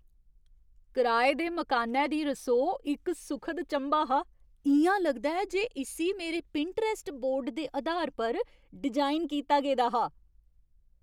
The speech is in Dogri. कराए दे मकानै दी रसोऽ इक सुखद चंभा हा इ'यां लगदा ऐ जे इस्सी मेरे पिंटरैस्ट बोर्ड दे अधार पर डिजाइन कीता गेदा हा! "